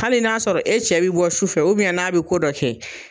Hali n'a sɔrɔ e cɛ bi bɔ su fɛ n'a bɛ ko dɔ kɛ